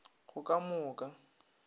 go ka mo o ka